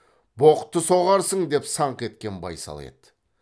боқты соғарсың деп саңқ еткен байсал еді